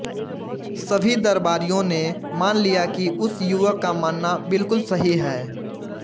सभी दरबारियों ने मान लिया कि उस युवक का मानना बिल्कुल सही है